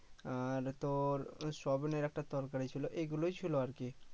আর তোর এর একটা তরকারি ছিলো এগুলোই ছিলো আরকি